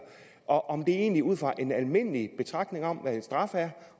og om det egentlig ud fra en almindelig betragtning om hvad en straf er